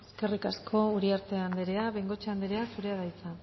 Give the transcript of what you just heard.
eskerrik asko uriarte andrea bengoechea andrea zurea da hitza